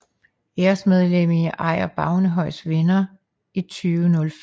Æresmedlem i Ejer Bavnehøjs Venner i 2005